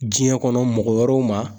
Diɲɛ kɔnɔ mɔgɔ wɛrɛw ma.